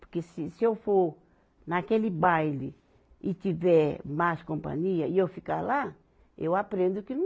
Porque se, se eu for naquele baile e tiver más companhia e eu ficar lá, eu aprendo que não